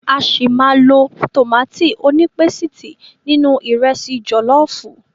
A ṣi máa lo tòmátì onípésìtì nínú ìrẹsi jọ̀lọ́fùú.